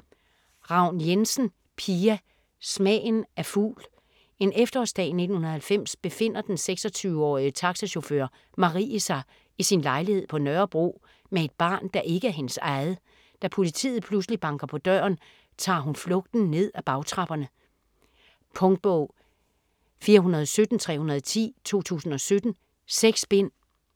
Ravn Jensen, Pia: Smagen af fugl En efterårsdag i 1990 befinder den 26-årige taxachauffør, Marie, sig i sin lejlighed på Nørrebro med et barn, der ikke er hendes eget. Da politiet pludselig banker på døren, tager hun flugten ned ad bagtrapperne ... Punktbog 417310 2017. 6 bind.